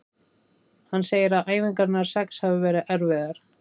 Hann segir að æfingarnar sex hafi verið erfiðar.